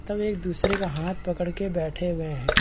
तब एक-दूसरे का हाथ पकड़ के बैठे हुए है।